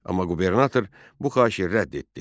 Amma qubernator bu xahişi rədd etdi.